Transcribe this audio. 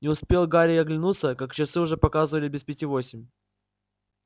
не успел гарри оглянуться как часы уже показывали без пяти восемь